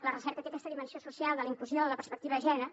la recerca té aquesta dimensió social de la inclusió en la perspectiva de gènere